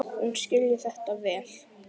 Hún skilji þetta vel.